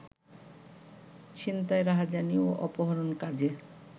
ছিনতাই রাহাজানি ও অপহরণ কাজে